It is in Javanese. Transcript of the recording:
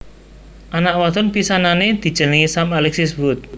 Anak wadon pisanané dijenengi Sam Alexis Woods